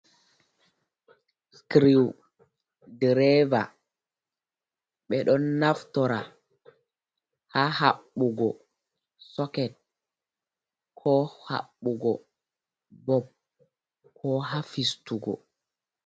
"Scriwdreva" ɓeɗo naftora ha habbugo soket ko habbugo bob ko ha fistugo.